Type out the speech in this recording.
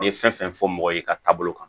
N ye fɛn fɛn fɔ mɔgɔ ye ka taabolo kan